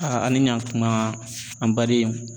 a ni ɲankuma an baden